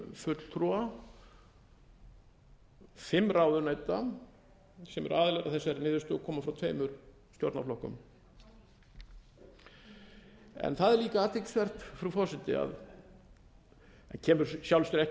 fulltrúa fimm ráðuneyta sem eru aðilar að þessari niðurstöðu og koma frá tveimur stjórnarflokkunum það er líka athyglisvert frú forseti það kemur í sjálfu sér